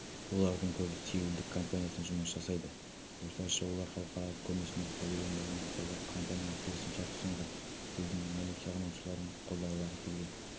олардың көбі сеулдік компаниясында жұмыс жасайды осылайша олар халықаралық көрмесінде павильондарын жасауға компанияға келісім шарт ұсынған елдің мәнерлеп сырғанаушыларын қолдағылары келген